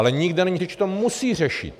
Ale nikde není řeč, že to musí řešit.